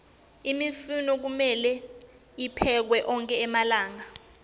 imifino kumelwe tiphekwe onkhe malanga